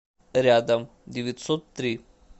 рядом девятьсот три